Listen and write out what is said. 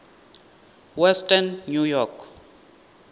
western new york